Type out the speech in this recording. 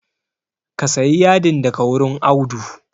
Ka sayi yadin daga wurin Audu